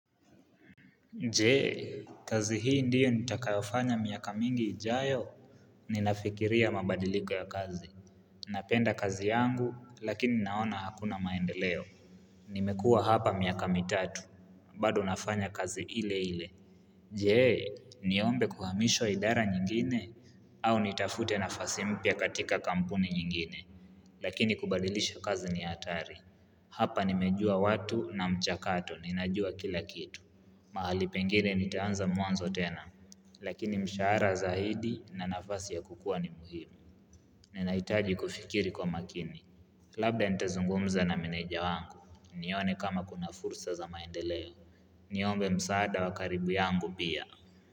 Jee, kazi hii ndiyo nitakayofanya miaka mingi ijayo, ninafikiria mabadiliko ya kazi. Napenda kazi yangu, lakini naona hakuna maendeleo. Nimekua hapa miaka mitatu, bado nafanya kazi ile ile. Jee, niombe kuhamishwa idara nyingine? Au nitafute nafasi mpya katika kampuni nyingine. Lakini kubadilisha kazi ni atari. Hapa nimejua watu na mchakato, ninajua kila kitu. Mahali pengine nitaanza mwanzo tena, lakini mshara zaidi na nafasi ya kukua ni muhimu. Ninahitaji kufikiri kwa makini. Labda nitazungumza na meneja wangu, nione kama kuna fursa za maendeleo. Niombe msaada wa karibu yangu pia.